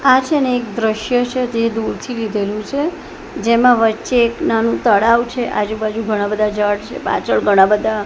આ છે ને એક દૃશ્ય છે તે દૂર થી લીધેલું છે જેમાં વચ્ચે એક નાનું તળાવ છે આજુ બાજુ ઘણા બધા ઝાડ છે પાછળ ઘણા બધા--